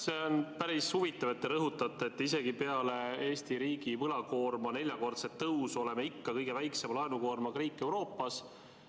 See on päris huvitav, et te rõhutate, et isegi peale Eesti riigi võlakoorma neljakordset tõusu oleme ikka kõige väiksema laenukoormusega riik Euroopas.